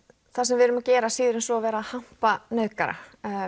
það sem við erum að gera síður en svo vera að hampa nauðgara